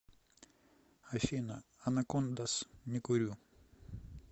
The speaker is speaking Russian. афина анакондаз не курю